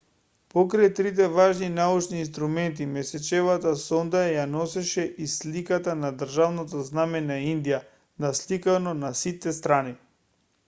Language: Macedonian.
покрај трите важни научни инструмента месечевата сонда ја носеше и сликата на државното знаме на индија насликано на сите страни